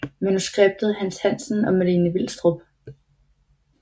Manuskript Hans Hansen og Malene Vilstrup